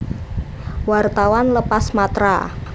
Wartawan lepas Matra